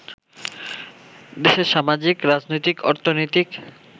দেশের সামাজিক, রাজনৈতিক, অর্থনৈতিক